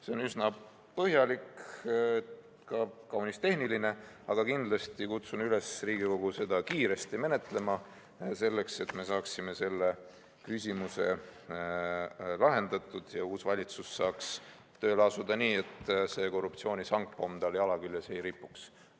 See on üsna põhjalik ja ka kaunis tehniline, aga kindlasti kutsun Riigikogu üles seda kiiresti menetlema, selleks et me saaksime selle küsimuse lahendatud ja uus valitsus saaks tööle asuda nii, et see korruptsiooni sangpomm tal jala küljes ei ripuks.